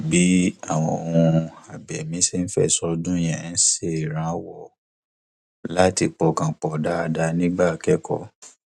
bí àwọn ohun abẹmí ṣe ń fẹsọ dún yẹn ń ṣèrànwọ láti pọkàn pọ dáadáa nígbà kẹkọọ